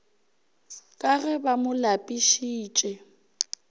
ka ge ba mo lapišitše